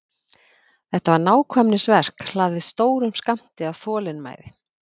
Þetta var nákvæmnisverk hlaðið stórum skammti af þolinmæði.